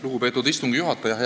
Lugupeetud istungi juhataja!